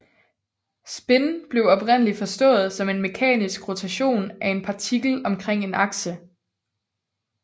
Spin blev oprindeligt forstået som en mekanisk rotation af en partikel omkring en akse